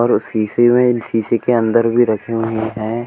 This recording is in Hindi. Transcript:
और शीशी में शीशे के अंदर भी रखे हुए है।